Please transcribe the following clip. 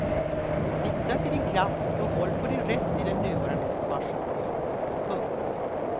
Lita till din kraft och håll på din rätt i den nuvarande situationen. punkt